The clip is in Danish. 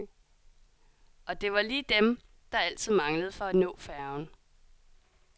Og det var lige dem, der altid manglede for at nå færgen.